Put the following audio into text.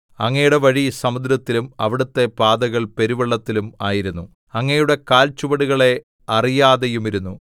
അങ്ങയുടെ വഴി സമുദ്രത്തിലും അവിടുത്തെ പാതകൾ പെരുവെള്ളത്തിലും ആയിരുന്നു അങ്ങയുടെ കാൽചുവടുകളെ അറിയാതെയുമിരുന്നു